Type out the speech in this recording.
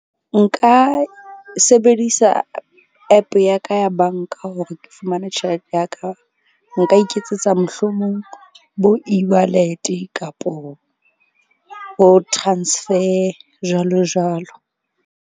Nka sebedisa app ya ka ya bank-a hore ke fumane tjhelete ya ka. Nka iketsetsa mohlomong bo e_wallet-e kapo ho transfer jwalo jwalo.